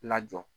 Lajɔ